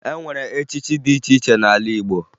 E nwere echichi dị iche iche n'ala Igbo